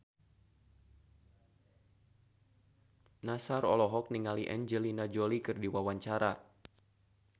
Nassar olohok ningali Angelina Jolie keur diwawancara